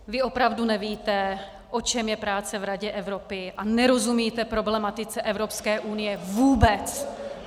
Vy opravdu nevíte, o čem je práce v Radě Evropy, a nerozumíte problematice Evropské unie vůbec!